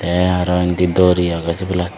tey arow indi dori agey sey belding.